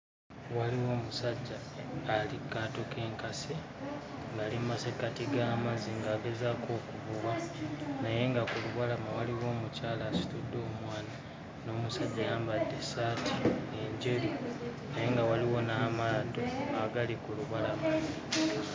Waliwo omusajja ali ku kaato k'enkasi ng'ali mu masekkati g'amazzi ng'agezaako okuvubanaye nga ku lubalama waliwo omukyala asitudde omwana n'omusajja ayambadde essaati enjeru naye nga waliwo n'amaato agali ku lubalama.